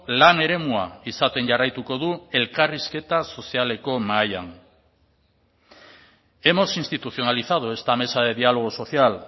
lan eremua izaten jarraituko du elkarrizketa sozialeko mahaian hemos institucionalizado esta mesa de diálogo social